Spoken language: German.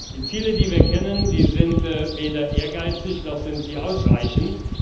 Die Ziele, die wir kennen, die sind weder ehrgeizig noch sind die ausreichend.